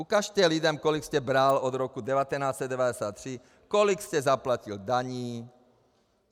Ukažte lidem, kolik jste bral od roku 1993, kolik jste zaplatil daní.